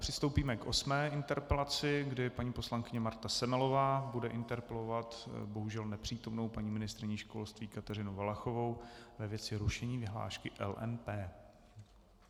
Přistoupíme k osmé interpelaci, kdy paní poslankyně Marta Semelová bude interpelovat bohužel nepřítomnou paní ministryni školství Kateřinu Valachovou ve věci rušení vyhlášky LMP.